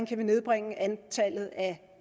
kan nedbringe antallet af